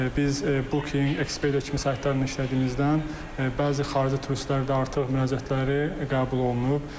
Biz booking.com ekspert kimi saytlarla işlədiyimizdən bəzi xarici turistlərin də artıq müraciətləri qəbul olunub.